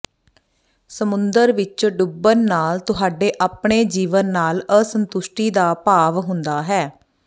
ਸਮੁੰਦਰ ਵਿਚ ਡੁੱਬਣ ਨਾਲ ਤੁਹਾਡੇ ਆਪਣੇ ਜੀਵਨ ਨਾਲ ਅਸੰਤੁਸ਼ਟੀ ਦਾ ਭਾਵ ਹੁੰਦਾ ਹੈ